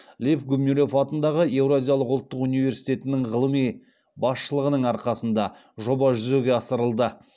лев гумилев атындағы евразиялық ұлттық университетінің ғылыми басшылығының арқасында жоба жүзеге асырылды